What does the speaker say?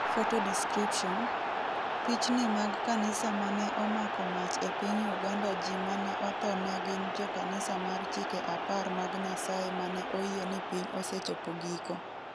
Photo description, Pichni mag kanisa mane omako mach e piny Uganda Ji mane otho ne gin jo kanisa mar Chike Apar mag Nyasaye mane oyie ni piny osechopo giko.